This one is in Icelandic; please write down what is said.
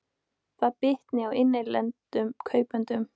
Það bitni á innlendum kaupendum